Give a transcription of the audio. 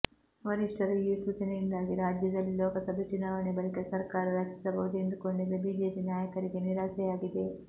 ವರಿಷ್ಠರ ಈ ಸೂಚನೆಯಿಂದಾಗಿ ರಾಜ್ಯದಲ್ಲಿ ಲೋಕಸಭೆ ಚುನಾವಣೆ ಬಳಿಕ ಸರ್ಕಾರ ರಚಿಸಬಹುದು ಎಂದುಕೊಂಡಿದ್ದ ಬಿಜೆಪಿ ನಾಯಕರಿಗೆ ನಿರಾಸೆಯಾಗಿದೆ